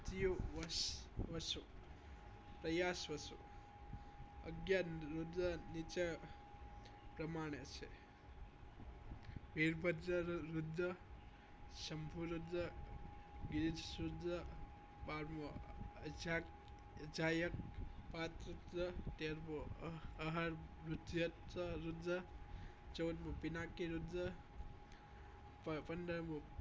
બાર મુ અજાયક અજાયક પર રુદ્ર ચૌદ મુ પીનાકીય રુદ્ર પન્ન પંદર મુ